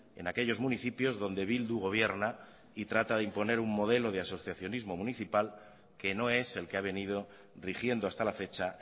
en aquellos municipios donde bildu gobierna y trata de imponer un modelo de asociacionismo municipal que no es el que ha venido rigiendo hasta la fecha